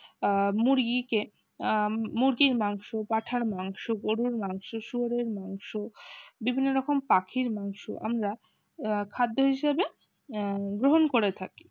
আহ মুরগিকে আহ মুরগির মাংস পাঁঠার মাংস গরুর মাংস শুয়োরের মাংস বিভিন্ন রকম পাখির মাংস আমরা খাদ্য হিসেবে গ্রহণ করে থাক